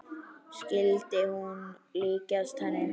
Skyldi hún líkjast henni?